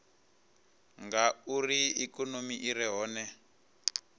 ngauri ikonomi i re hone